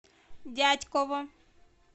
дятьково